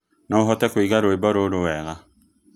no ũhote kũiga rwĩmbo rũrũ wega